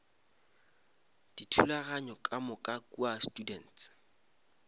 dithulaganyo ka moka kua students